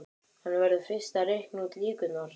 Hann verður fyrst að reikna út líkurnar.